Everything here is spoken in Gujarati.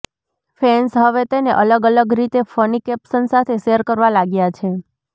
ફેન્સ હવે તેને અલગ અલગ રીતે ફની કેપ્શન સાથે શેર કરવા લાગ્યા છે